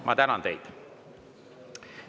Ma tänan teid.